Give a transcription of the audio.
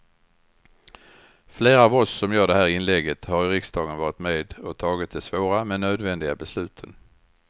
Flera av oss som gör det här inlägget har i riksdagen varit med och tagit de svåra men nödvändiga besluten.